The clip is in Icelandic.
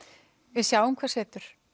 við sjáum hvað setur